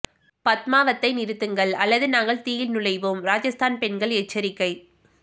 பத்மாவத்தை நிறுத்துங்கள் அல்லது நாங்கள் தீயில் நுழைவோம் ராஜஸ்தான் பெண்கள் எச்சரிக்கை